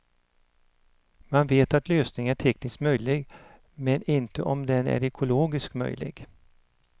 Man vet att lösningen är tekniskt möjlig men inte om den är ekologiskt möjlig.